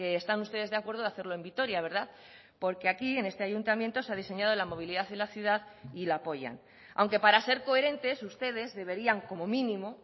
están ustedes de acuerdo de hacerlo en vitoria verdad porque aquí en este ayuntamiento se ha diseñado la movilidad en la ciudad y la apoyan aunque para ser coherentes ustedes deberían como mínimo